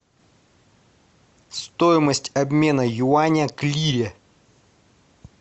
стоимость обмена юаня к лире